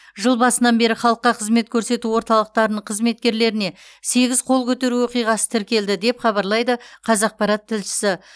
жыл басынан бері халыққа қызмет көрсету орталықтарының қызметкерлеріне сегіз қол көтеру оқиғасы тіркелді деп хабарлайды қазақпарат тілшісі